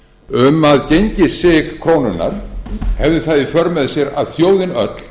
um að gengissig krónunnar hefði það í för með sér að þjóðin öll